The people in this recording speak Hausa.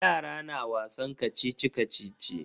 Yara na wasan kacici-kacici.